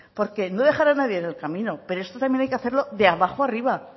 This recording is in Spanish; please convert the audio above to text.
porque no dejará nadie en el camino pero esto también hay que hacerlo de abajo arriba